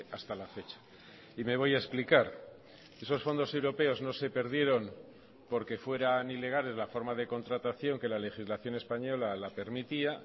hasta la fecha y me voy a explicar esos fondos europeos no se perdieron porque fueran ilegales la forma de contratación que la legislación española la permitía